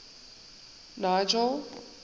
nigel